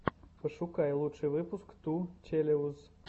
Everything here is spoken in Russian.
пошукай лучший выпуск ту челэуз